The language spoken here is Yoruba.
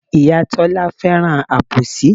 Ìyá Tọ́lá fẹ́ràn àbòsí.